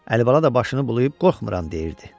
Əlibala da başını bulayıb qorxmuram deyirdi.